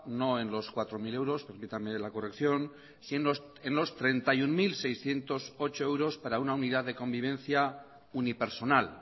no en los cuatro mil euros permítanme la corrección sino en los treinta y uno mil seiscientos ocho euros para una unidad de convivencia unipersonal